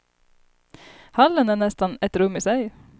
Hallen är nästan ett rum i sig.